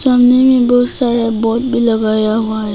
सामने में बहुत सारा बोर्ड भी लगाया हुआ है।